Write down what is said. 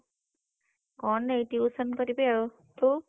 କଣ ଏଇ tuition କରିବି ଆଉ ତୁ?